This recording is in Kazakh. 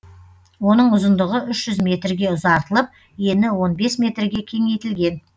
оның ұзындығы үш жүз метрге ұзартылып ені он бес метрге кеңейтілген